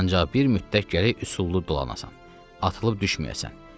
Ancaq bir müddət gərək üsullu dolanasan, atılıb düşməyəsən.